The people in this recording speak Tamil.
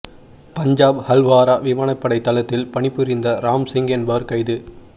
பஞ்சாப் ஹல்வாரா விமானப்படை தளத்தில் பணிபுரிந்த ராம் சிங் என்பவர் கைது